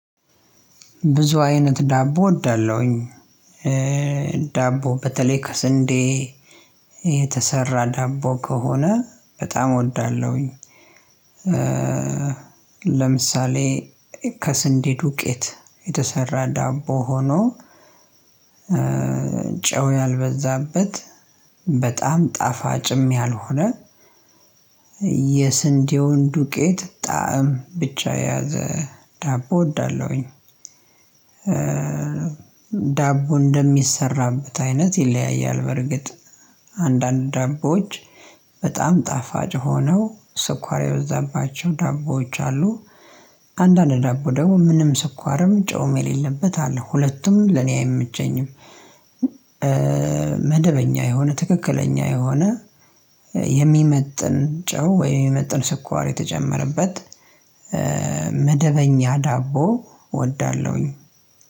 ብዙ አይነት ዳቦ እወዳለሁኝ ዳቦ በተለይ ከስንዴየተሰራ ዳቦ ከሆነ በጣም እወዳለሁኝ። ለምሳሌ ከስንዴ ዱቄት የተሰራ ዳቦ ሆኖ ያልበዛበት በጣም ጣፋጭም ያልሆነ የስንዴውን ዱቄት ጣዕም ብቻ የያዘ ዳቦ እወዳለሁኝ። ዳቦ እንደሚሰራበት አይነት ይለያያል በርግጥ አንዳንድ ደቦዎች በጣም ጣፋጭ ሆነው ስኳር የበዛባቸው ደቦዎች አሉ። አንዳንድ ደግሞ ምንም ስኳርም ጨውም የሌለበት አለ ሁለቱም ለኔ አይምቸኝም አይመቸኝም። መደበኛ የሆነ ትክክለኛ የሆነ የሚመጥን ጨው ወይም የሚመጥን ስኳር የተጨመረበት መደበኛ ዳቦ እወዳለሁኝ።